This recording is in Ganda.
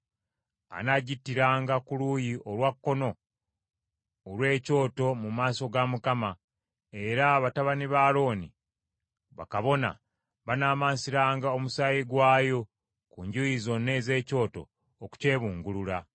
Anaagittiranga ku luuyi olwakkono olw’ekyoto mu maaso ga Mukama , era batabani ba Alooni, bakabona, banaamansiranga omusaayi gwayo ku njuyi zonna ez’ekyoto okukyebungulula.